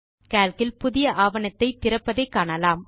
Calc இல் புதிய ஆவணத்தை திறப்பதை காணலாம்